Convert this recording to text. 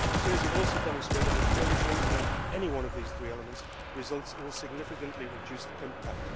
Studies have also demonstrated that failure to implement any one of these three elements results in a significantly reduced impact.